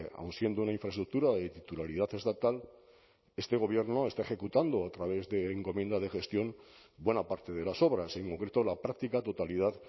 aun siendo una infraestructura de titularidad estatal este gobierno está ejecutando a través de encomienda de gestión buena parte de las obras en concreto la práctica totalidad